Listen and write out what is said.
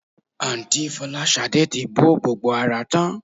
Àǹtí Fọláṣadé ti bọ́ gbogbo ara tán